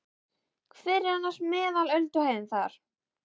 Hver er annars meðal ölduhæðin þar?